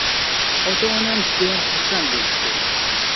Ota-onam judayam xursand bo‘lishdi.